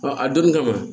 a donni kama